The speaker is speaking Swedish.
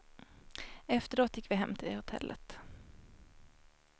Efteråt gick vi hem till hotellet.